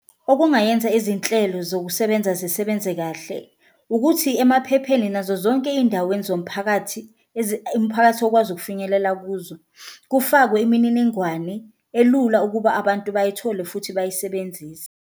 Okungayenza izinhlelo zokusebenza zisebenze kahle ukuthi emaphepheni nazo zonke indaweni zomphakathi, umphakathi okwazi ukufinyelela kuzo kufakwe imininingwane elula ukuba abantu bayithole futhi bayisebenzise.